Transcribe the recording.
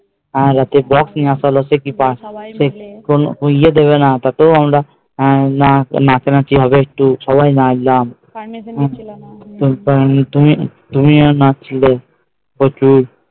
আর রাত্রে box নিয়ে আস্তে হলো ওই ইয়ে দেবে না যত আমার নাচ নাচি হবে সবাই মিলে হবে নাচ গান তুমিও নাচছিলে প্রচুর